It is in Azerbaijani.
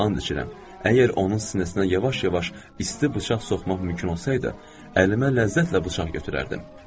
And içirəm, əgər onun sinəsinə yavaş-yavaş isti bıçaq soxmaq mümkün olsaydı, əlimə ləzzətlə bıçaq götürərdim.